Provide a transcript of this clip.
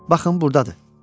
Baxın burdadır.